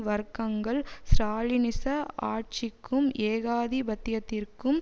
வர்க்கங்கள் ஸ்ராலினிச ஆட்சிக்கும் ஏகாதிபத்தியத்திற்கும்